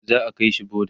za'a kaishi boda